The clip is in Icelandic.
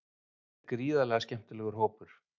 Þetta er gríðarlega skemmtilegur hópur.